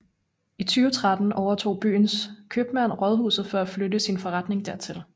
I 2013 overtog byens købmand rådhuset for at flytte sin forretning dertil